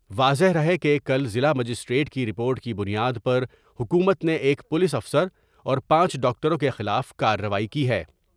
واضح رہے کہ کل ضلع مجسٹریٹ کی رپورٹ کی بنیاد پر حکومت نے ایک پولیس افسر اور پانچ ڈاکٹروں کے خلاف کارروائی کی ہے ۔